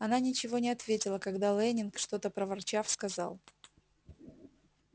она ничего не ответила когда лэннинг что-то проворчав сказал